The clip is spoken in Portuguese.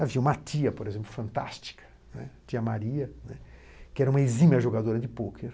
Havia uma tia, por exemplo, fantástica, né, tia Maria, né, que era uma exímia jogadora de pôquer.